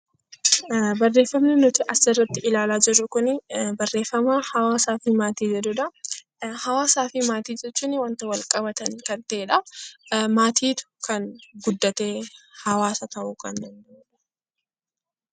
Barreeffamni nuti asirratti ilaalaa jirru kun barreeffama 'hawaasaa fi maatii ' jedhuu dha. Hawaasaa fi maatii jechuun wanta walqabatan kan ta'ee dha. Maatiitu kan guddatee hawaasa ta'uu kan danda'uu dha.